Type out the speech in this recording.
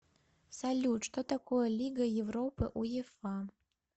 салют что такое лига европы уефа